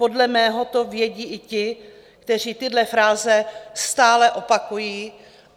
Podle mě to vědí i ti, kteří tyhle fráze stále opakují.